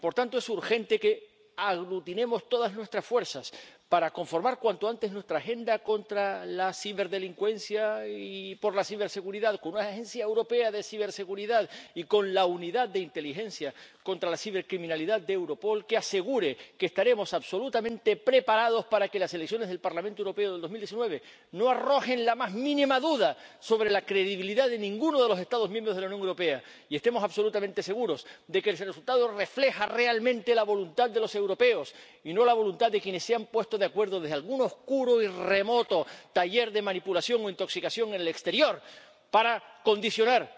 Por tanto, es urgente que aglutinemos todas nuestras fuerzas para conformar cuanto antes nuestra agenda contra la ciberdelincuencia y por la ciberseguridad con una agencia europea de ciberseguridad y con la unidad de inteligencia contra la cibercriminalidad de Europol, que asegure que estaremos absolutamente preparados para que las elecciones al Parlamento Europeo de 2019 no arrojen la más mínima duda sobre la credibilidad de ninguno de los Estados miembros de la Unión Europea y estemos absolutamente seguros de que el resultado refleja realmente la voluntad de los europeos y no la voluntad de quienes se han puesto de acuerdo desde algún oscuro y remoto taller de manipulación o intoxicación en el exterior para condicionar